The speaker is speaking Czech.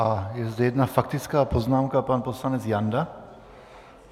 A je zde jedna faktická poznámka - pan poslanec Janda.